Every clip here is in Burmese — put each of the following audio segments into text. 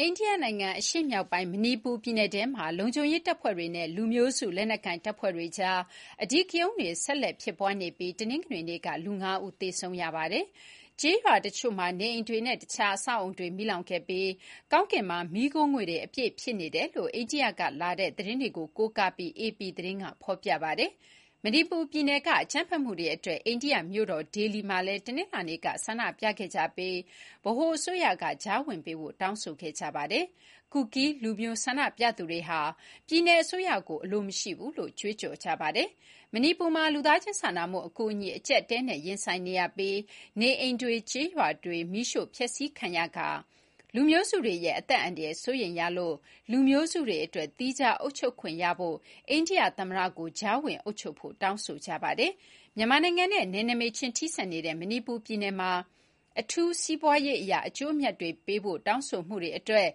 အိန္ဒိယနိုင်ငံ အရှေ့မြောက်ပိုင်း မဏိပူပြည်နယ်ထဲမှာ လုံခြုံရေးတပ်ဖွဲ့တွေနဲ့ လူမျိုးစု လက်နက်ကိုင် တပ်ဖွဲ့တွေကြား အဓိကရုဏ်းတွေ ဆက်လက်ဖြစ်ပွားနေပြီး တနင်္ဂနွေနေ့ကလူ (၅) ဦးသေဆုံးခဲ့ပါတယ်။ ကျေးရွာအချို့မှာ နေအိမ်တွေနဲ့တခြား အဆောက်အအုံတွေ မီးလောင်ခဲ့ပြီး ကောင်းကင်မှာ မီးခိုးငွေ့တွေ အပြည့် ဖြစ်နေတယ်လို့ အိန္ဒိယက လာတဲ့ သတင်းတွေကို ကိုးကား ပြီး အေပီ သတင်းက ဆိုပါတယ်။ မဏိပူ ပြည်နယ်က အကြမ်းဖက်မှုတွေအတွက် အိန္ဒိယမြို့တော် ဒေလီမှာလည်း တနင်္လာနေ့က ဆန္ဒပြခဲ့ကြပြီး ဗဟိုအစိုးရက ကြားဝင်ပေးဖို့ တောင်းဆိုခဲ့ကြပါတယ်။ ကူကီးလူမျိုးဆန္ဒပြသူတွေဟာ ပြည်နယ် အစိုးရကို အလိုမရှိဘူးလို့ ကြွေးကြော်ကြပါတယ်။ မဏိပူမှာလူသားချင်းစာနာမှု အကူအညီ အကျပ်အတည်းနဲ့ ရင်ဆိုင်နေရပြီး နေအိမ်တွေ၊ ကျေးရွာတွေ မီးရှို့ဖျက်ဆီးခံရသလို လူမျိုးစုတွေရဲ့ အသက် အန္တရာယ် စိုးရိမ်ရတဲ့အတွက်လူမျိုးစုတွေ သီးခြားအုပ်ချုပ်ခွင့်ရဖို့ အိန္ဒိယသမ္မတကို တောင်းဆိုကြပါတယ် မြန်မာနိုင်ငံနဲ့ နယ်နိမိတ်ချင်း ထိစပ်နေတဲ့ မဏိပူပြည်နယ်မှာ အထူးစီးပွားရေးအရ အကျိုးအမြတ်တွေပေးဖို့ တောင်းဆိုမှုတွေအတွက်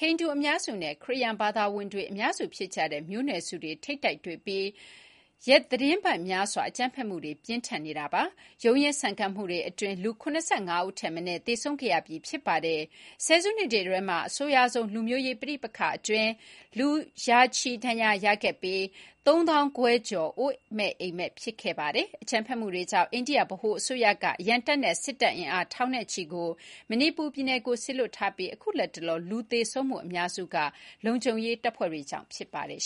ဟိန္ဒူအများစုနဲ့ ခရစ်ယာန်ဘာသာဝင် အများစု ဖြစ်ကြတဲ့ မျိုးနွယ်စုတွေ ထိပ်တိုက်တွေ့ပြီး ရက်သီတင်းပတ်များစွာ အကြမ်းဖက်မှုတွေ ပြင်းထန်နေတာပါ။ ရုန်းရင်းဆန်ခတ်မှုတွေ အတွင်း လူ ၇၅ ဦးထက်မနည်း သေဆုံးခဲ့ရပြီး ဖြစ်ပါတယ်။ ဆယ်စုနှစ်တွေထဲမှာ အဆိုးရွားဆုံးလူမျိုးရေး ပဋိပက္ခအတွင်း လူရာနဲ့ချီ ဒဏ်ရာရခဲ့ပြီး ၃၅,၀၀၀ ကျော် အိုးမဲ့အိမ်မဲ့ ဖြစ်ခဲ့ပါတယ်။ အကြမ်းဖက်မှုတွေကြောင့် အိန္ဒိယဗဟို အစိုးရက အရံတပ်နဲ့ စစ်တပ်အင်အား ထောင်နဲ့ချီကို မဏိပူပြည်နယ်ထဲ စေလွှတ်ထားပြီး အခုလတ်တလော လူ သေဆုံးမှုအများစုမှာ လုံခြုံရေးတပ်ဖွဲ့တွေကြောင့် ဖြစ်ပါတယ်